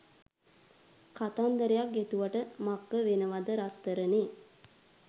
කතන්දරයක් ගෙතුවට මක්ක වෙනවද රත්තරනේ?